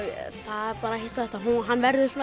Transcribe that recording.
þetta hann verður